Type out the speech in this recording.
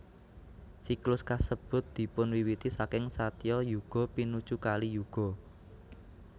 Siklus kasebut dipunwiwiti saking Satya Yuga pinuju Kali Yuga